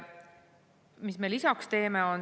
Mis me veel teeme?